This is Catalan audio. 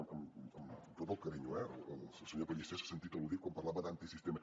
amb tot el carinyo eh el senyor pellicer s’ha sentit al·ludit quan parlava d’antisistema